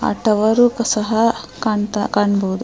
ಆ ಟವರ್ ಸಹ ಕಣ್ ಕಾಣಬಹುದು --